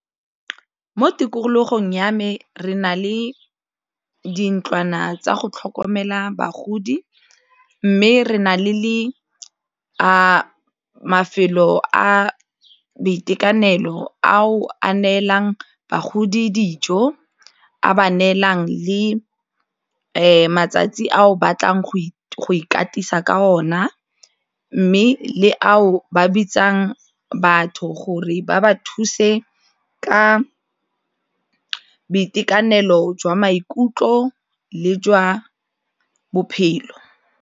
Mo tikologong ya me re na le dintlwana tsa go tlhokomela bagodi mme re na le mafelo a boitekanelo ao a neelang bagodi dijo a ba neelang le matsatsi a o batlang go ikatisa ka ona mme le ao ba bitsang ba batho gore ba ba thuse ka boitekanelo jwa maikutlo le jwa bophelo.